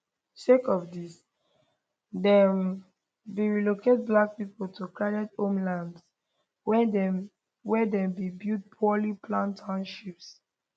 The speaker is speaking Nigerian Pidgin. sake of dis dem bin relocate black pipo to crowded homelands wia dem wia dem bin build poorly planned townships